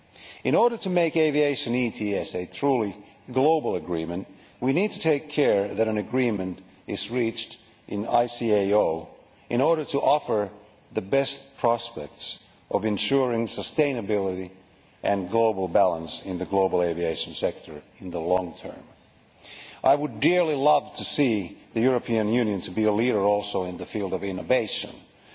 In order to make aviation ETS a truly global agreement, we need to take care that an agreement is reached in ICAO in order to offer the best prospects of ensuring sustainability and global balance in the global aviation sector in the long term. I would dearly love to see the European Union being a leader in the field of innovation as well.